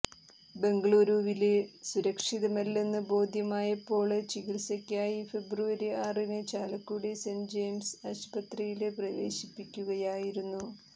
ബംഗളുരുവില് സുരക്ഷിതമല്ലെന്ന് ബോധ്യമായപ്പോള് ചികിത്സയ്ക്കായി ഫെബ്രുവരി ആറിന് ചാലക്കുടി സെന്റ് ജയിംസ് ആശുപത്രിയില് പ്രവേശിപ്പിക്കുകയായിരുന്നു